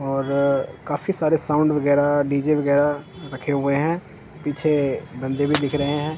और काफी सारे साउंड वगैरा डी_जे वगैरा रखे हुए है पीछे बंदे भी दिख रहे है।